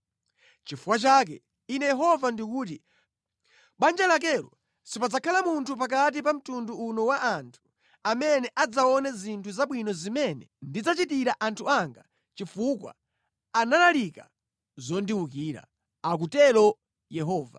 Nʼchifukwa chake Ine Yehova ndikuti: Mʼbanja lakelo sipadzakhala munthu pakati pa mtundu uno wa anthu amene adzaone zinthu zabwino zimene ndidzachitira anthu anga chifukwa analalika zondiwukira,’ ” akutero Yehova.